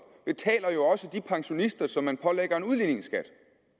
betaler jo også de pensionister som man pålægger en udligningsskat